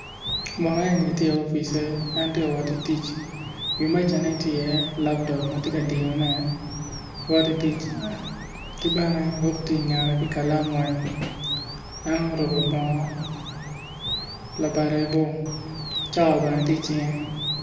Munu eni tye i opicce en ti wotti tic wi mejane ti iye laptop ma ti diyone wotti tic kibene buk ti ingette ki kalam weny en oruku bongo labade bor cawa bene ti icinge